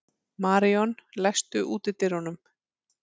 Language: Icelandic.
Maríon, læstu útidyrunum.